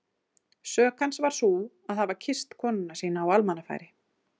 Sök hans var sú að hafa kysst konuna sína á almannafæri!